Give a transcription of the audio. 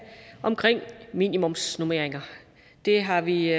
om minimumsnormeringer det har vi